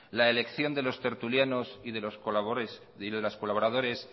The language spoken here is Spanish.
la elección de los tertulianos y los colaboradores